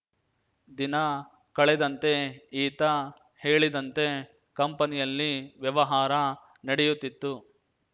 ದಿನ ಕಳೆದಂತೆ ಈತ ಹೇಳಿದಂತೆ ಕಂಪನಿಯಲ್ಲಿ ವ್ಯವಹಾರ ನಡೆಯುತ್ತಿತ್ತು